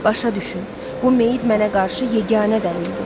Başa düşün, bu meyid mənə qarşı yeganə dəlildir.